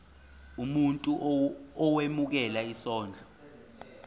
umuntu owemukela isondlo